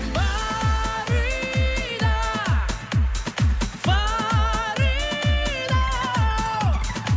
фарида фарида